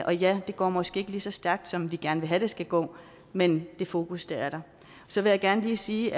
og ja det går måske ikke lige så stærkt som vi gerne vil have det skal gå men det fokus er der så vil jeg gerne lige sige